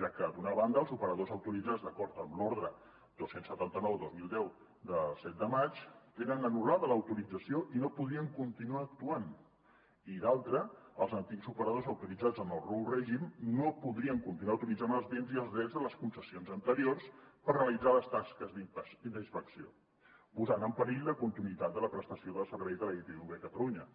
ja que d’una banda els operadors autoritzats d’acord amb l’ordre dos cents i setanta nou dos mil deu de set de maig tenen anul·lada l’autorització i no podrien continuar actuant i de l’altra els antics operadors autoritzats en el nou règim no podrien continuar utilitzant els béns i els drets de les concessions anteriors per realitzar les tasques d’inspecció cosa que posaria en perill la continuïtat de la prestació del servei de la itv a catalunya